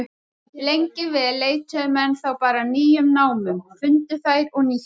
Lengi vel leituðu menn þá bara að nýjum námum, fundu þær og nýttu.